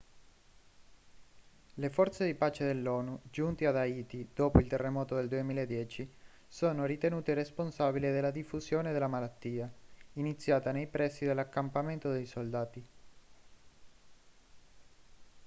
le forze di pace dell'onu giunte ad haiti dopo il terremoto del 2010 sono ritenute responsabili della diffusione della malattia iniziata nei pressi dell'accampamento dei soldati